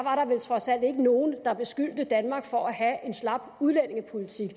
trods alt ikke nogen der beskyldte danmark for at have en slap udlændingepolitik